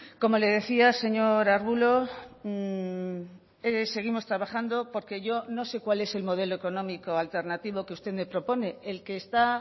como le decía señor arbulo seguimos trabajando porque yo no sé cuál es el modelo económico alternativo que usted me propone el que está